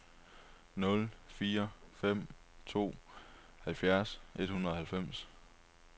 nul fire fem to halvfjerds et hundrede og halvfems